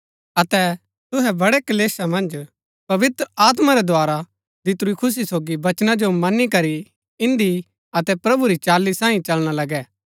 अतै तुहै बड़ै क्‍लेशा मन्ज पवित्र आत्मा रै द्धारा दितुरी खुशी सोगी वचना जो मनी करी इन्दी अतै प्रभु री चाली सांईं चलना लगै